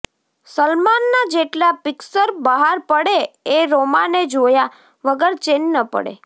સલમાનનાં જેટલાં પિક્સર બહાર પડે એ રોમાને જોયા વગર ચેન ન પડે